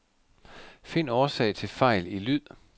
Find årsag til fejl i lyd.